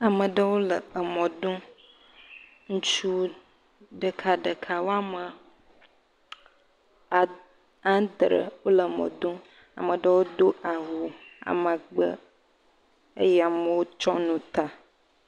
Ameɖewo le emɔ dom, ŋutsu ɖeka ɖeka woame anɖre wòle mɔ dom, ameɖewo do awu amagbe, eye amewo tsɔ nu ta.